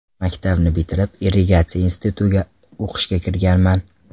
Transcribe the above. Maktabni bitirib, Irrigatsiya institutiga o‘qishga kirganman.